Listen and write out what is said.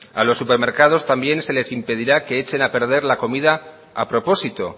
a los supermercados también se les impedirá que echen a perder la comida a propósito